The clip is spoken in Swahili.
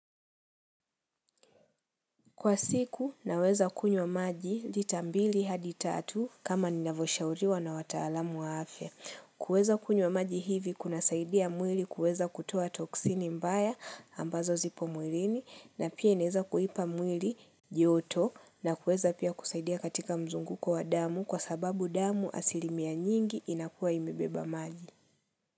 Kwa siku, naweza kunywa maji lita mbili hadi tatu kama ninavyoshauriwa na wataalamu wa afya. Kuweza kunywa maji hivi kunasaidia mwili kuweza kutoa toksini mbaya ambazo zipo mwilini na pia inaweza kuipa mwili joto na kuweza pia kusaidia katika mzunguko wa damu kwa sababu damu asilimia nyingi inakuwa imebeba maji.